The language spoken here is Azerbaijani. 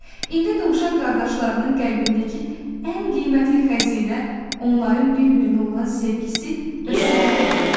İndi dovşan qardaşlarının qəlbindəki ən qiymətli xəzinə onların bir-birinə olan sevgisi və sədaqəti idi.